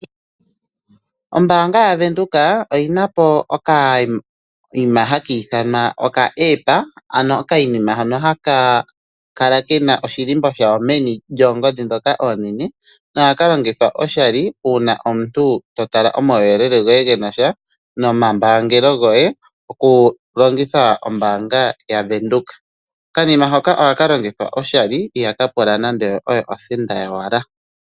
Ombanga yaVenduka oyina po okayima haka ithanwa okaApp ano okayima hono haka kala kena oshilimbo shawo meni lyoongodhi dhoka oonene nohaka longithwa oshali una omuntu to tala omawuyelele goye genasha nomambaangelo goye oku longitha ombanga yaVenduka. Okanima haka ohaka longithwa oshali ihaka pula nande osenda yowala.